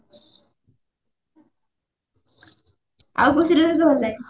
ଆଉ କଉ serial ତୋତେ ଭଲ ଲାଗେ?